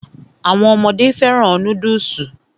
Àwọn ọmọdé fẹ́ràn núdùsì